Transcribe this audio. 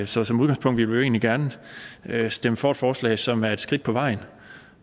så som udgangspunkt vil vi egentlig gerne stemme for et forslag som er et skridt på vejen